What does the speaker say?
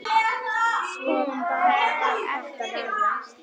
Svo bara varð þetta verra.